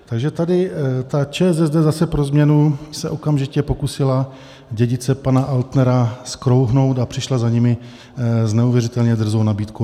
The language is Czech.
Takže tady ta ČSSD zase pro změnu se okamžitě pokusila dědice pana Altnera zkrouhnout a přišla za nimi s neuvěřitelně drzou nabídkou.